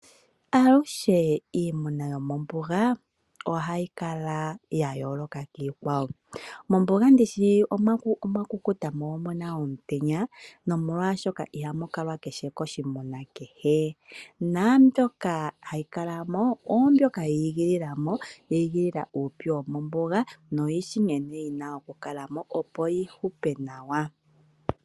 Aluhe iimuna yomombuga ohayi kala ya yooloka kiikwawo. Mombuga ndi shi omwa kukuta mo omu na omutenya, nomolwashoka, ihamu kalwa koshimuna kehe. Naambyoka hayi kala mo, oyo mboka yi igilila mo, yi igilila uupyu womombuga noyi shi nkene yi na okukala mo, opo yi hupe nawa.